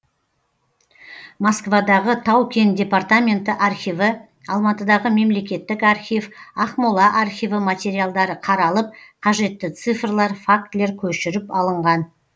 москвадағы тау кен департаменті архиві алматыдағы мемлекеттік архив ақмола архиві материалдары қаралып қажетті цифрлар фактілер көшіріп алынған